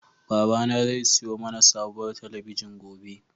Babana zai siyo mana sabuwar talabijin gobe.